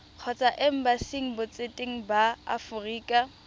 kgotsa embasing botseteng ba aforika